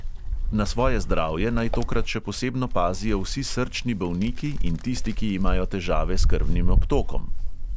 Na svoje zdravje naj tokrat še posebno pazijo vsi srčni bolniki in tisti, ki imajo težave s krvnim obtokom.